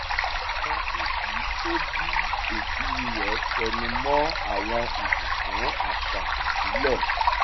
àwọn òbí tó bí òbí rẹ̀ tẹnu mọ́ àwọn ìbùkún àṣà ìbílẹ̀